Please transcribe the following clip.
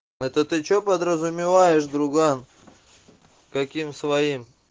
это ты что подразумеваешь друган каким своим